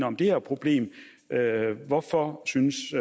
om det her problem hvorfor synes